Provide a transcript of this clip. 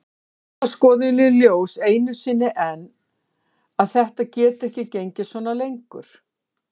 Lætur þá skoðun í ljós enn einu sinni að þetta geti ekki gengið svona lengur.